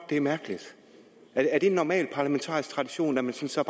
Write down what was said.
det er mærkeligt er det en normal parlamentarisk tradition at man så